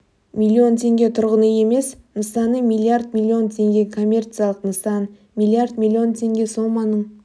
миллион теңге тұрғын үй емес нысаны миллиард миллион теңге коммерциялық нысан миллиард миллион теңге соманың